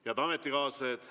Head ametikaaslased!